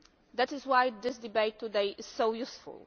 That is why this debate today is so useful.